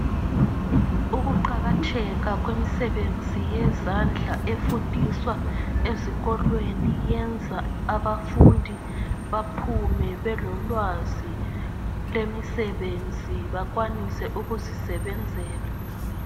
Ukuqakatheka kwemisebenzi yezandla efundiswa ezikolweni yenza abafundi baphume belolwazi lwemisebenzi bekwanise ukuzisebenzela.